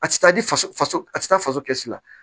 A ti taa di faso faso a ti taa faso kɛsi la